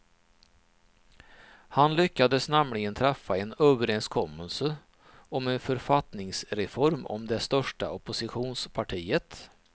Han lyckades nämligen träffa en överenskommelse om en författningsreform med det största oppositionspartiet.